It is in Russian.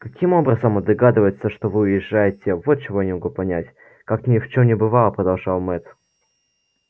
каким образом он догадывается что вы уезжаете вот чего я не могу понять как ни в чем не бывало продолжал мэтт